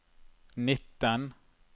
nitten